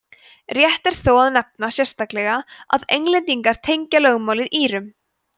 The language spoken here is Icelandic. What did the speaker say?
rétt er þó að nefna sérstaklega að englendingar tengja lögmálið írum